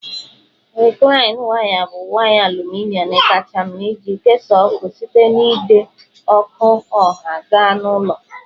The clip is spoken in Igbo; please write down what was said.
Rịklaịn waya bụ waya aluminọm kacha mma iji kesaa ọkụ site n'ide ọkụ ọha gaa na ụlọ